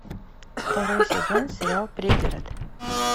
второй сезон сериал пригород